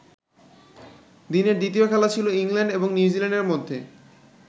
দিনের দ্বিতীয় খেলা ছিল ইংল্যান্ড এবং নিউজিল্যান্ডের মধ্যে।